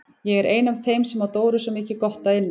Ég er ein af þeim sem á Dóru mikið gott upp að inna.